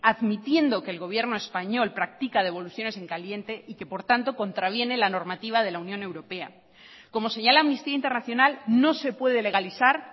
admitiendo que el gobierno español practica devoluciones en caliente y que por tanto contraviene la normativa de la unión europea como señala amnistía internacional no se puede legalizar